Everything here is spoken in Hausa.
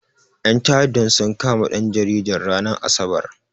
Ƴan ta'addan sun kama ɗan jaridan, ranar asabar.